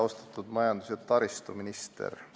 Austatud majandus- ja taristuminister!